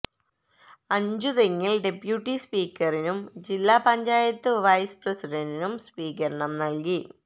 അഞ്ചുതെങ്ങിൽ deputy സ്പീക്കറിനും ജില്ലാ panchayat vice പ്രസിഡന്റിനും സ്വീകരണം നൽകി